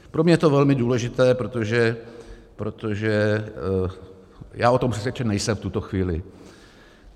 Pro mě je to velmi důležité, protože já o tom přesvědčen nejsem v tuto chvíli.